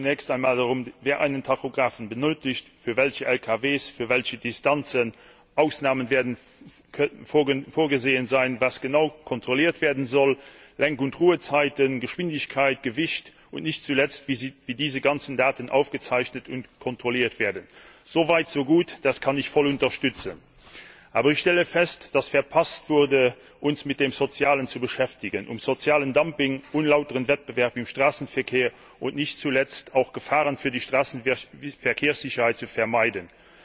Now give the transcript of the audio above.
Es geht zunächst einmal darum, wer einen Tachografen benötigt, für welche Lkw, für welche Distanzen, Ausnahmen werden vorgesehen, was genau kontrolliert werden soll, Lenk und Ruhezeiten, Geschwindigkeit, Gewicht, und nicht zuletzt wie diese ganzen Daten aufgezeichnet und kontrolliert werden. So weit, so gut. Das kann ich voll unterstützen. Aber ich stelle fest, dass verpasst wurde, uns mit dem Sozialen zu beschäftigen, um soziales Dumping, unlauteren Wettbewerb im Straßenverkehr und nicht zuletzt auch Gefahren für die Straßenverkehrssicherheit zu vermeiden.